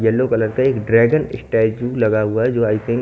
yellow colour का एक dragon statue लगा हुआ है जो --